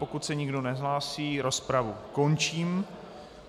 Pokud se nikdo nehlásí, rozpravu končím.